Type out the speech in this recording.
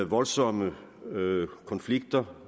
voldsomme konflikter